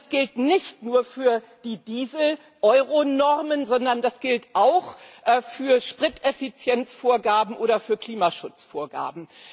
Und das gilt nicht nur für die Diesel Euronormen, sondern das gilt auch für Spriteffizienzvorgaben oder für Klimaschutzvorgaben.